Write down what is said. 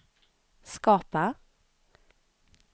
skapa